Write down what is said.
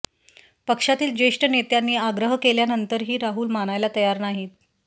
पक्षातील ज्येष्ठ नेत्यांनी आग्रह केल्यानंतरही राहुल मानायला तयार नाहीत